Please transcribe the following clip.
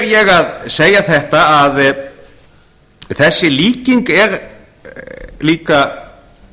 ég að segja þetta að þessi líking er líka